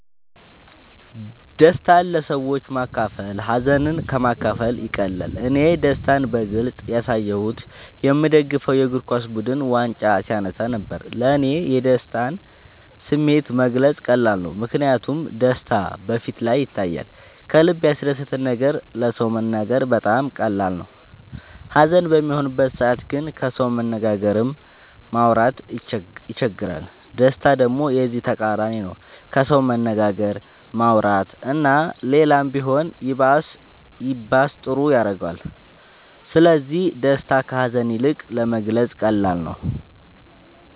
ደስታን ለሰዎች ማካፈል ሀዘንን ከ ማካፈል ይቀላል እኔ ደስታን በግልፅ ያሳየሁት የ ምደግፈው የ እግርኳስ ቡድን ዋንጫ ሲያነሳ ነበር። ለ እኔ የደስታን ስሜት መግለፅ ቀላል ነው ምክንያቱም ደስታ በ ፊቴ ላይ ይታያል ከልበ ያስደሰተን ነገር ለ ሰው መናገር በጣም ቀላል ነው ሀዘን በሚሆንበት ሰዓት ግን ከሰው መነጋገርም ማውራት ይቸግራል ደስታ ደሞ የዚ ተቃራኒ ነው ከሰው መነጋገር ማውራት እና ሌላም ቢሆን ይባስ ጥሩ ያረገዋል ስለዚ ደስታ ከ ሀዛን ይልቅ ለመግለፃ ቀላል ነው።